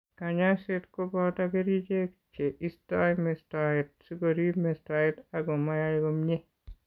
Kanyoiset ko boto kerichek che isto mistoet sikorip mistoet ako mayae komnyie.